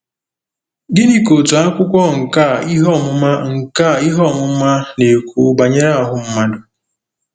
Gịnị ka otu akwụkwọ nkà ihe ọmụma nkà ihe ọmụma na-ekwu banyere ahụ mmadụ?